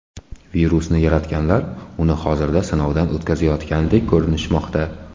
Virusni yaratganlar uni hozirda sinovdan o‘tkazayotgandek ko‘rinishmoqda.